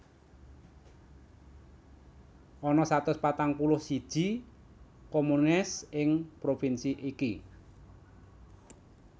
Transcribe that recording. Ana satus patang puluh siji communes ing provinsi iki